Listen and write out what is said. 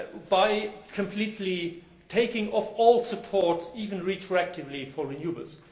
by completely taking away all support, even retroactively, for renewables.